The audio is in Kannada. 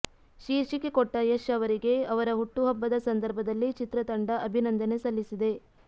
ಶೀರ್ಷಿಕೆ ಕೊಟ್ಟ ಯಶ್ ಅವರಿಗೆ ಅವರ ಹುಟ್ಟುಹಬ್ಬದ ಸಂದರ್ಭದಲ್ಲಿ ಚಿತ್ರತಂಡ ಅಭಿನಂದನೆ ಸಲ್ಲಿಸಿದೆ